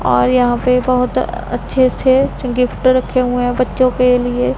और यहां पे बहोत अच्छे अच्छे गिफ्ट रखे हुए हैं बच्चों के लिए--